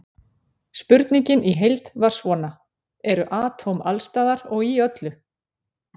Spurningin í heild var svona: Eru atóm alls staðar og í öllu?